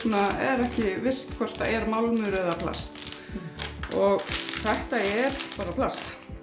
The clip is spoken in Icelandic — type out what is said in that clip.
er ekki visst hvort er málmur eða plast þetta er bara plast